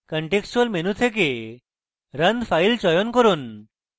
contextual menu থেকে run file চয়ন run